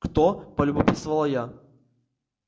кто полюбопытствовала я